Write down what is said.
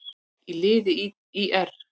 í liði ÍR.